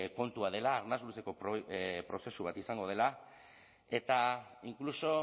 kontua dela arnas luzeko prozesu bat izango dela eta inkluso